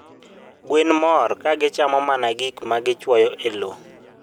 Gwen mor ka gichamoga mana gik ma gichuoyo e lowo.